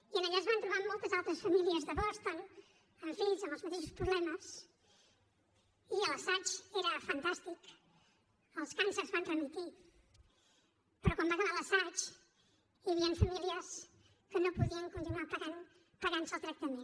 i allà es van trobar amb moltes altres famílies de boston amb fills amb els mateixos problemes i l’assaig era fantàstic els càncers van remetre però quan va acabar l’assaig hi havien famílies que no podien continuar pagant se el tractament